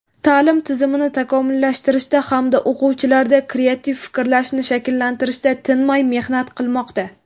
ta’lim tizimini takomillashtirishda hamda o‘quvchilarda kreativ fikrlashni shakllantirishda tinmay mehnat qilmoqda.